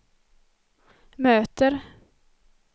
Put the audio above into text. möter